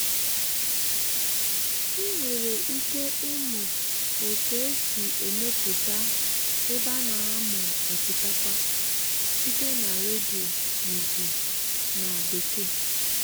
ị nwere ike ịmụ otu esi emepụta ebe a na-amụ osikapa site na redio n'igbo na bekee.